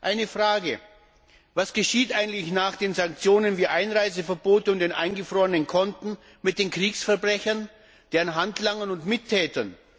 Eine Frage Was geschieht eigentlich nach den Sanktionen wie Einreiseverboten und den eingefrorenen Konten, mit den Kriegsverbrechern, deren Handlangern und Mittätern?